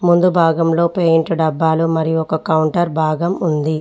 ముందు భాగంలో పెయింట్ డబ్బాలు మరియు ఒక కౌంటర్ భాగం ఉంది.